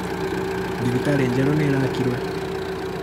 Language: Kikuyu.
Thibitarĩ njerũ nĩ ĩraakwo.